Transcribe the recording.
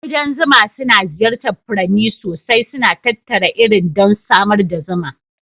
Ƙudan zuma suna ziyartar furanni sosai, suna tattara irin don samar da zuma.